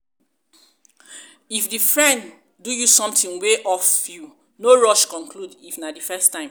if di friend do you something wey off you no rush conclude if na di first time